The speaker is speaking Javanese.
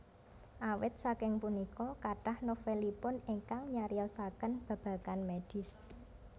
Awit saking punika kathah novelipun ingkang nyariyosaken babagan medis